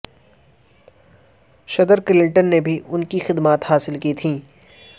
صدر کلنٹن نے بھی ان کی خدمات حاصل کی تھیں